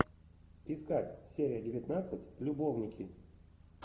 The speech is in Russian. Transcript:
искать серия девятнадцать любовники